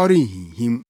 ɔrenhinhim.